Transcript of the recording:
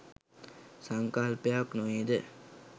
සංකල්පයක් නොවේද?